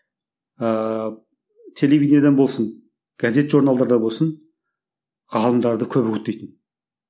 ыыы телевидениеден болсын газет журналдарда болсын ғалымдарды көп үгіттейтін